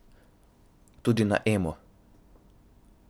Tudi na Emo.